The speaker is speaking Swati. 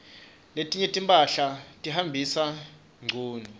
letinye timphahla tihambisana ngcunu